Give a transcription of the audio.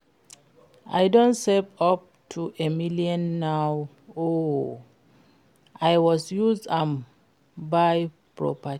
I don save up to a million now oo, I was use am buy property